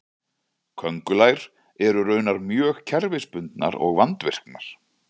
köngulær eru raunar mjög kerfisbundnar og vandvirkar